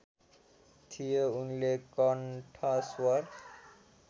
थियो उनले कन्ठस्वर